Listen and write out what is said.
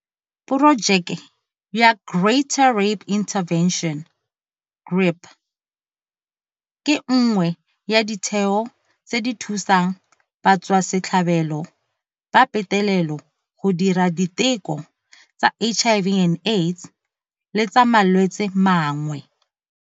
Porojeke ya Greater Rape Intervention GRIP ke nngwe ya ditheo tse di thusang batswasetlhabelo ba petelelo go dira diteko tsa HIV and Aids le tsa malwetse mangwe.